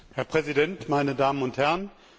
Herr Präsident, meine Damen und Herren!